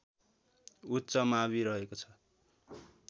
उच्च मावि रहेको छ